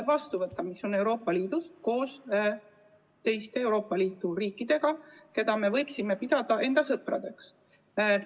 koos teiste Euroopa Liidu riikidega, keda võime pidada enda sõpradeks.